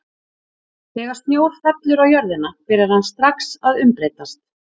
Þegar snjór fellur á jörðina byrjar hann strax að umbreytast.